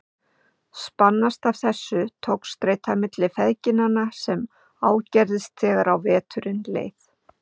Spannst af þessu togstreita milli feðginanna sem ágerðist þegar á veturinn leið.